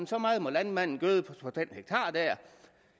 så meget må landmanden gøde på